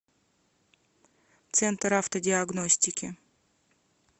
центр автодиагностики